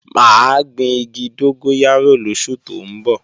Mà á gbin igi dógóyárò lóṣù tó ń bọ̀